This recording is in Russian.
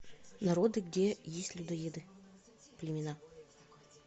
народы где есть людоеды племена